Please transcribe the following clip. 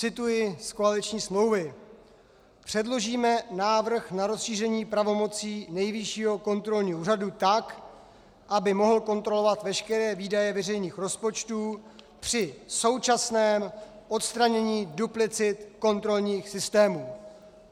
Cituji z koaliční smlouvy: "Předložíme návrh na rozšíření pravomocí Nejvyššího kontrolního úřadu tak, aby mohl kontrolovat veškeré výdaje veřejných rozpočtů při současném odstranění duplicit kontrolních systémů."